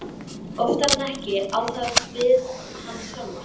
Oftar en ekki á það við hana sjálfa.